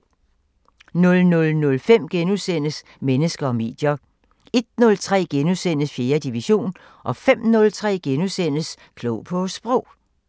00:05: Mennesker og medier * 01:03: 4. division * 05:03: Klog på Sprog *